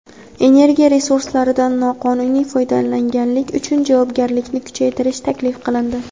Energiya resurslaridan noqonuniy foydalanganlik uchun javobgarlikni kuchaytirish taklif qilindi.